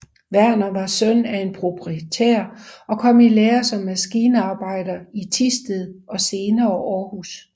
Werner var søn af en proprietær og kom i lære som maskinarbejder i Thisted og senere Århus